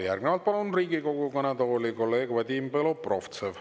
Järgnevalt palun Riigikogu kõnetooli kolleeg Vadim Belobrovtsevi.